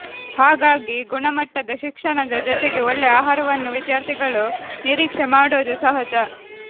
ಹಾಗಾಗಿ ಗುಣಮಟ್ಟದ ಶಿಕ್ಷಣದ ಜೊತೆಗೆ ಒಳ್ಳೆ ಆಹಾರವನ್ನೂ ವಿದ್ಯಾರ್ಥಿಗಳು ನಿರೀಕ್ಷೆ ಮಾಡೋದು ಸಹಜ